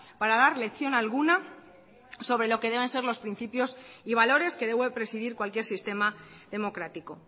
para dar lección alguna sobre lo que deben ser los principios y valores que debe de presidir cualquier sistema democrático